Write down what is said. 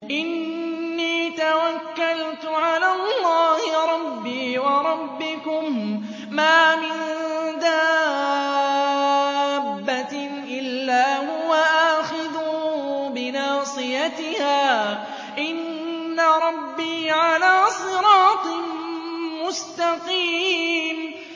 إِنِّي تَوَكَّلْتُ عَلَى اللَّهِ رَبِّي وَرَبِّكُم ۚ مَّا مِن دَابَّةٍ إِلَّا هُوَ آخِذٌ بِنَاصِيَتِهَا ۚ إِنَّ رَبِّي عَلَىٰ صِرَاطٍ مُّسْتَقِيمٍ